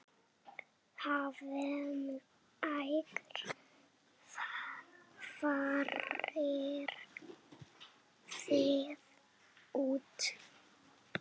Hvenær farið þið út?